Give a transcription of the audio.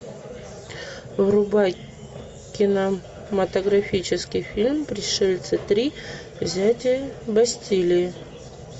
врубай кинематографический фильм пришельцы три взятие бастилии